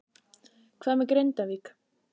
Hvað með Grindavík?